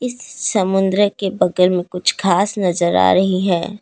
समुंद्र के बगल में कुछ घास नजर आ रही है।